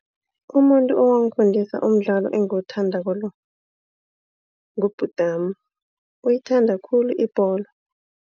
Umuntu owangifundisa umdlalo engiwuthandako lo ngubhutami uyayithanda khulu ibholo.